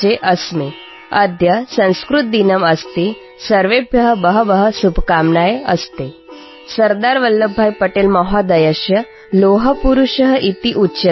అస్మి | అద్య సంస్కృత దినం అస్తి | సర్వేభ్య బహవ్య శుభ కామ్ నాః సంతి | సర్దార్వల్లభాయ్పటేల్ మహోదయ లోహ పురుషః ఇత్యుచ్యతే